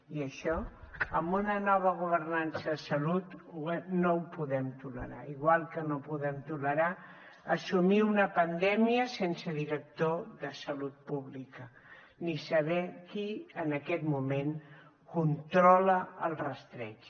i això amb una nova governança de salut no ho podem tolerar igual que no podem tolerar assumir una pandèmia sense director de salut pública ni saber qui en aquest moment controla el rastreig